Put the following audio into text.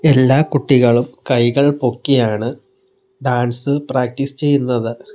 എല്ലാ കുട്ടികളും കൈകൾ പൊക്കിയാണ് ഡാൻസ് പ്രാക്റ്റീസ് ചെയ്യുന്നത്.